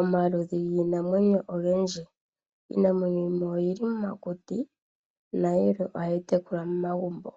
Omaludhi giinamwenyo ogedji. Iinamwenyo yimwe oyi li momakuti nayimwe ohayi tekulwa momagumbo.